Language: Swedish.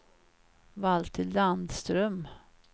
Valter Landström